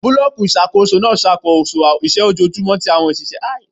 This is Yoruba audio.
Bulọọki iṣakoso n ṣakoso awọn iṣẹ ojoojumọ ati awọn iṣẹ ṣiṣe iṣakoso